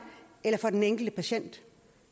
eller for den enkelte patient